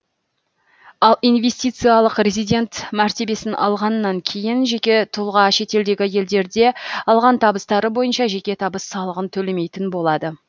ал инвестициялық резидент мәртебесін алғаннан кейін жеке тұлға шетелдегі елдерде алған табыстары бойынша жеке табыс салығын төлемейтін болады